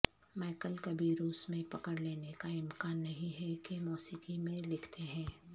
Michael کبھی روس میں پکڑ لینے کا امکان نہیں ہے کہ موسیقی میں لکھتے ہیں